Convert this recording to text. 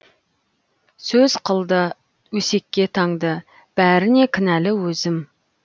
сөз қылды өсекке таңды бәріне кінәлі өзім